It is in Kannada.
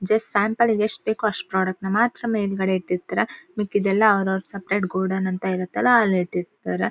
ಜಸ್ಟ್ ಸ್ಯಾಂಪಲ್ ಲೀಗ್ ಮಾತ್ರ ಎಷ್ಟ್ ಬೇಕೋ ಅಷ್ಟ್ ಪ್ರಾಡಕ್ಟ್ ನ ಮಾತ್ರ ಮೇಲ್ ಗಡೆ ಇಟ್ಟಿರತಾರೆ. ಮಿಕ್ಕಿದೆಲ್ಲಾ ಅವ್ರ್ ಅವ್ರ್ ಸಪರೇಟ್ ಗೋಡನ್ ಅಂತ ಇರತ್ತಲ್ಲಾ ಅಲ್ ಇಟ್ಟಿರತಾರೆ.